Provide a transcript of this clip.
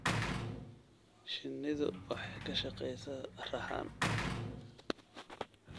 Shinnidu waxay ka shaqeysaa raxan.